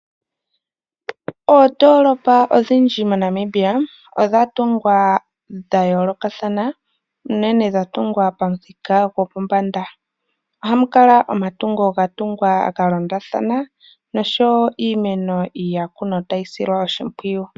Oondoolopa odhindji moNamibia odha tungwa dha yoolokathana, unene dha tungwa pamuthika gwopombanda. Ohamu kala omatungo ga londathana nosho wo iimeno ya kunwa tayi silwa oshimpwiyu.